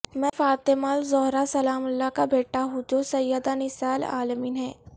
میں فاطمہ الزہرا سلام اللہ کا بیٹا ہوں جو سیدہ نساء العالمین ہیں